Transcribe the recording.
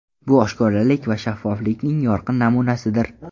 Bu oshkoralik va shaffoflikning yorqin namunasidir”.